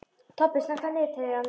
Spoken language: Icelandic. Tobbi, slökktu á niðurteljaranum.